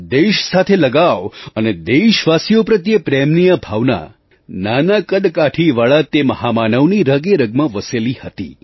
દેશ સાથે લગાવ અને દેશવાસીઓ પ્રત્યે પ્રેમની આ ભાવના નાના કદકાઠીવાળા તે મહામાનવની રગેરગમાં વસેલી હતી